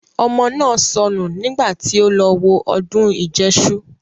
Ọmọ náà sọnù nígbà tí ó lọ wo ọdún ìjẹṣu